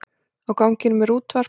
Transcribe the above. Á ganginum er útvarp.